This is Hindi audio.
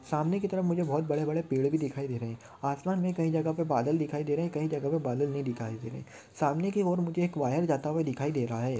सामने की तरफ मुझे बड़े बड़े पेड़ भी दिखाई दे रहे है आसमान मे कई जगह पर बादल दिखाई दे रहे है कई जगह पे बादल नहीं दिखाई दे रहे सामने की ओर मुझे एक वायर जाता हुआ दिखाई दे रहा है।